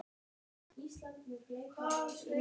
Karen: En hvers vegna valdirðu að koma í Húsmæðraskólann?